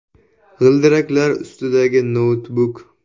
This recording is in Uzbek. G‘ildiraklar ustidagi “noutbuk”.